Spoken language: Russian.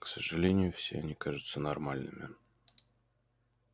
к сожалению все они кажутся нормальными